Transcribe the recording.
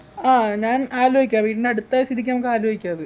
ആഹ് ഞാൻ ആലോയിക്കാം വീട്ടിനടുത്തായ സ്ഥിതിക്ക് നമുക്കാലോയിക്കാ അത്